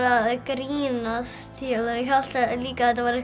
að grínast ég hélt líka að þetta væri